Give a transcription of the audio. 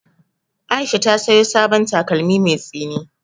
Aisha ta saya sabon takalmi mai tsini jiya